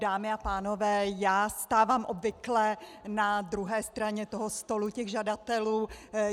Dámy a pánové, já stávám obvykle na druhé straně toho stolu těch žadatelů.